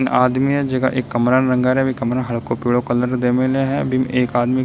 आदमी है जीका एक कमरा रंगा रे है कमरा में हल्का पिल्लो कलर दे मिले है बिन एक आदमी --